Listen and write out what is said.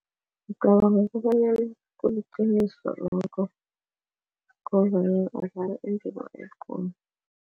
Ngicabanga kobanyana kuliqiniso lokho badlala indima ekulu.